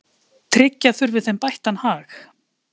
Tryggja þurfi þeim bættan hag.